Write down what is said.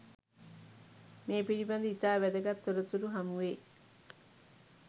මේ පිළිබඳ ඉතා වැදගත් තොරතුරු හමු වේ.